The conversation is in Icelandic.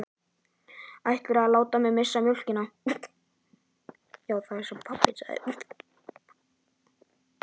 Ætlarðu að láta mig missa mjólkina?